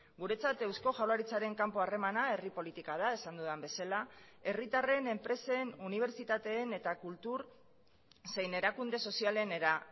guretzat eusko jaurlaritzaren kanpo harremana herri politika da esan dudan bezala herritarren enpresen unibertsitateen eta kultur zein erakunde sozialenera